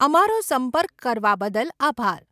અમારો સંપર્ક કરવા બદલ આભાર.